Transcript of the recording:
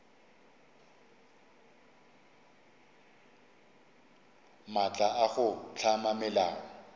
maatla a go hlama melao